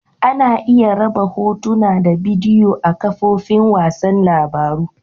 Ana iya raba Hotuna da bidiyo a'kafofin wasan labaru.